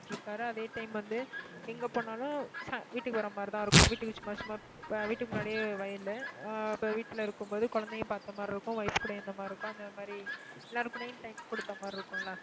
பாத்துட்டிருக்காரு அதே time வந்து, எங்க போனாலும் சா~வீட்டுக்கு வர்ற மாதிரிதான் இருக்கும். வீட்டுக்கு சும்மா சும்மா, வீட்டுக்கு முன்னாடியே வயலு, ஆஹ் அப்போ வீட்டுல இருக்கும்போது குழந்தைகளை பார்த்த மாதிரி இருக்கும் wife கூடயும் இருந்த மாதிரி இருக்கும். அந்த மாதிரி எல்லாருக்கூடயும் time கொடுத்தா மாதிரி இருக்கும்ல?